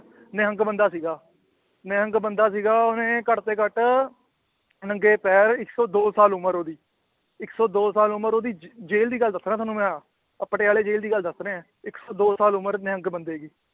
ਨਿਹੰਗ ਬੰਦਾ ਸੀਗਾ ਨਿਹੰਗ ਬੰਦਾ ਸੀਗਾ ਉਹਨੇ ਘੱਟ ਤੋਂ ਘੱਟ ਨੰਗੇ ਪੈਰ ਇੱਕ ਸੌ ਦੋ ਸਾਲ ਉਮਰ ਉਹਦੀ ਇੱਕ ਸੌ ਦੋ ਸਾਲ ਉਮਰ ਉਹਦੀ ਜ ਜੇਲ੍ਹ ਦੀ ਗੱਲ ਦੱਸ ਰਿਹਾਂ ਤੁਹਾਨੂੰ ਮੈਂ ਆਹ, ਆਹ ਪਟਿਆਲੇ ਜੇਲ੍ਹ ਦੀ ਗੱਲ ਦੱਸ ਰਿਹਾਂ ਇੱਕ ਸੌ ਦੋ ਸਾਲ ਉਮਰ ਨਿਹੰਗ ਬੰਦੇ ਦੀ